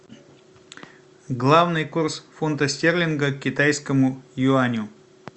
главный курс фунта стерлинга к китайскому юаню